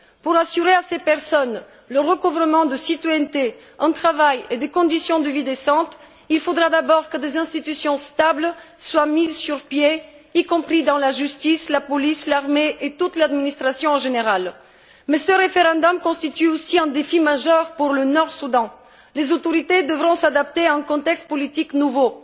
Pour assurer à ces personnes qu'elles retrouveront la citoyenneté, un travail et des conditions de vie décentes, il faudra d'abord que des institutions stables soient mises sur pied, y compris dans la justice, la police, l'armée et toute l'administration en général. Mais ce référendum constitue aussi un défi majeur pour le Nord Soudan. Les autorités devront s'adapter à un contexte politique nouveau.